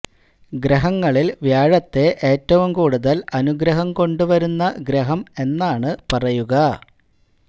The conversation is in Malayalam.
ഗ്രഹങ്ങളിൽ വ്യാഴത്തെ ഏറ്റവും കൂടുതൽ അനുഗ്രഹം കൊണ്ട് വരുന്ന ഗ്രഹം എന്നാണ് പറയുക